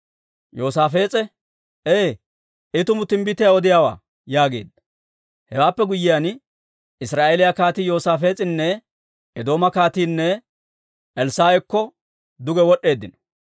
Yoosaafees'e, «Ee, I tumu timbbitiyaa odiyaawaa» yaageedda. Hewaappe guyyiyaan, Israa'eeliyaa kaatii, Yoosaafees'inne Eedooma kaatiinne Elssaa'akko duge wod'd'eeddino.